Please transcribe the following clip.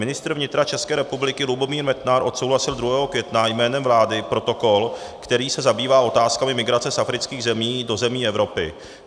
Ministr vnitra České republiky Lubomír Metnar odsouhlasil 2. května jménem vlády protokol, který se zabývá otázkami migrace z afrických zemí do zemí Evropy.